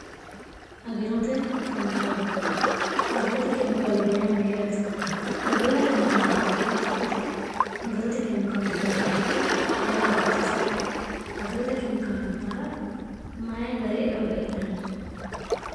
girotagirote kemikaalubba yaamuyyaate agirote kemikaalubba ya hiittoote agirote keemikaalubbainwte mayi gari horo afidhino agirote kemikaalu bara mayi gari eo heedhanno